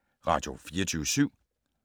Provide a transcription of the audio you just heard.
Radio24syv